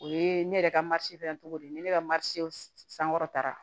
O ye ne yɛrɛ ka fana cogo de ye ne ka sankɔrɔtara